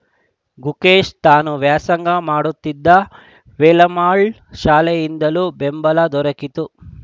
ಗುಕೇಶ್‌ಗೆ ತಾನು ವ್ಯಾಸಂಗ ಮಾಡುತ್ತಿರುವ ವೇಲಮ್ಮಾಳ್‌ ಶಾಲೆಯಿಂದಲೂ ಬೆಂಬಲ ದೊರೆಕಿತು